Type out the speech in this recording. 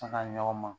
ɲɔgɔn ma